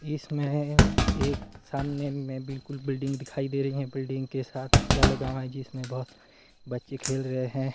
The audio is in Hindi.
इसमें एक सामने में बिल्कुल बिल्डिंग दिखाई दे रही हैं बिल्डिंग के साथ झूला लगा हुआ हैं जिसमें बहोत बच्चे खेल रहे हैं।